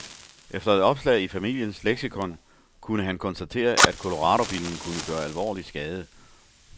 Efter et opslag i familiens leksikon kunne han konstatere, at coloradobillen kunne gøre alvorlig skade.